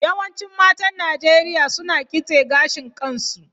Yawancin matan Najeriya suna kitse gashin kansu.